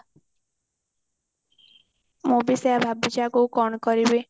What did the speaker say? ମୁଁ ବି ସେଇଆ ଭାବୁଛି ଆଗକୁ କଣ କରିବି